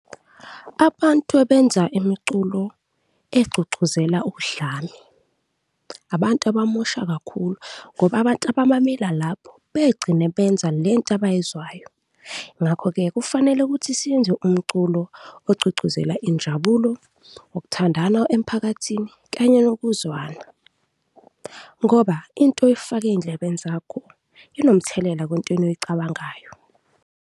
Abantu abenza imiculo egqugquzela udlame abantu abamosha kakhulu ngoba abantu abamamela lapho begcine benza le nto abayizwayo ngakho-ke kufanele ukuthi siyenze umculo ogqugquzela injabulo, ukuthandana emphakathini kanye nokuzwana ngoba into oyifaka ey'ndlebeni zakho inomthelela kwentweni oyicabangayo.